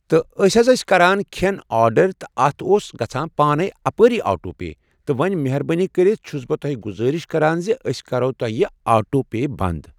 تہٕ أسۍ حض ٲسۍ کَران کھٮ۪ن آرڈَر تہٕ اَتھ اوس گَژھان پانے اپٲری آٹو پے تہٕ وۄنۍ مہربٲنی کٔرتھ چھس بہٕ تۄہہِ گذٲرش کَران اَسہِ کٔرۍ تو یہِ آٹو پے بنٛدٕے